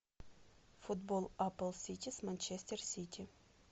футбол апл сити с манчестер сити